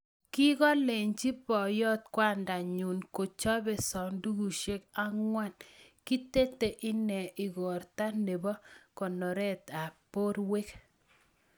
Kikakolenjii poyot kwandaa nyuun kochope sandukusiek angwan kitete inee igortaa neboo konorett ap porwek